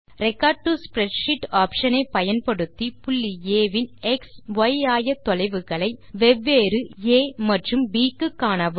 record to spreadsheet option ஐ பயன்படுத்தி புள்ளி ஆ இன் எக்ஸ் மற்றும் ய் ஆயத்தொலைவுகளை வெவ்வேறு ஆ மற்றும் ப் க்கு காணவும்